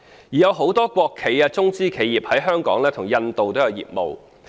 有很多國企及中資企業在香港與印度也有業務往來。